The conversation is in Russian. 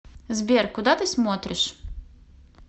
сбер куда ты смотришь